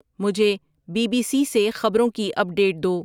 مجھے B B C سے خبروں کی اپ ڈیٹ دو